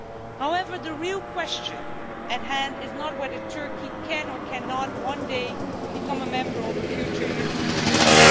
However, the real question at hand is not whether Turkey can or cannot one day become a member of a future European Union.